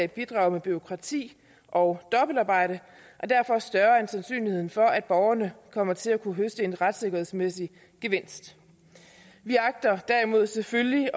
bidrager med bureaukrati og dobbeltarbejde er derfor større end sandsynligheden for at borgerne kommer til at kunne høste en retssikkerhedsmæssig gevinst vi agter derimod selvfølgelig